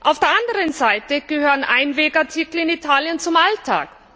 Auf der anderen Seite gehören Einwegartikel in Italien zum Alltag.